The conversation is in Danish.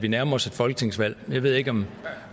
vi nærmer os et folketingsvalg jeg ved ikke om